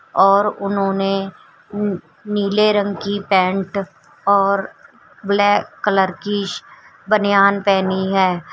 और उन्होंने नीले रंग की पेंट और ब्लैक कलर की बनियान पहनी है।